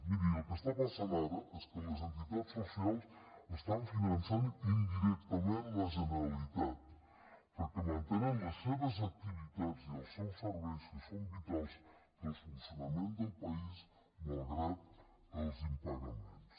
miri el que està passant ara és que les entitats socials estan finançant indirectament la generalitat perquè mantenen les seves activitats i els seus serveis que són vitals per al funcionament del país malgrat els impagaments